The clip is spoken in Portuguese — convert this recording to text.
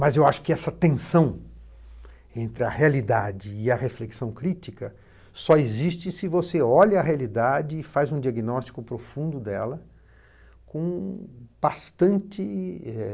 Mas eu acho que essa tensão entre a realidade e a reflexão crítica só existe se você olha a realidade e faz um diagnóstico profundo dela com bastante eh